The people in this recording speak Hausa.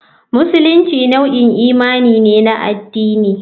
Musulunci nau'in imani ne na addini.